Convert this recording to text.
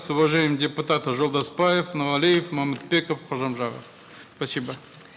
с уважением депутаты жолдасбаев нуралиев момытбеков кожамжаров спасибо